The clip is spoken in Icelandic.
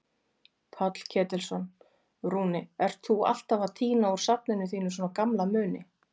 Páll Ketilsson: Rúni, ert þú alltaf að tína úr safninu þínu svona gamla muni?